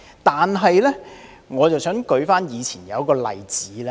但是，我想舉出一個例子。